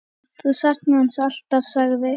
Þú saknar hans alltaf, sagði